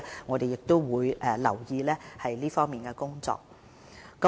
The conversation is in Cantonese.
我們會注意這方面工作的進展。